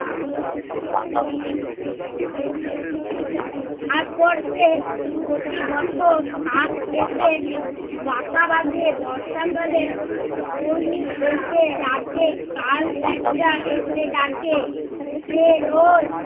তারপর সে প্রতিবছর এসে বাসা বাধে বর্ষাকালে এসে রাতে তাল ডাকে সে রোজ